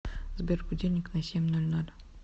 сбер будильник на семь ноль ноль